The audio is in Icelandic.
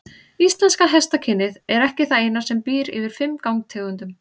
Íslenska hestakynið er ekki það eina sem býr yfir fimm gangtegundum.